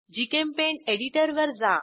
GChemPaint एडिटरवर जा